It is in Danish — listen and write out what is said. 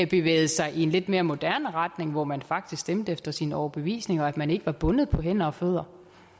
bevægede sig i en lidt mere moderne retning hvor man faktisk stemte efter sin overbevisning og man ikke var bundet på hænder og fødder